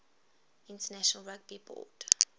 international rugby board